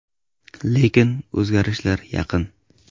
Lekin o‘zgarishlar yaqin.